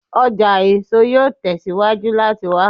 Ọja eso yoo tẹsiwaju lati wa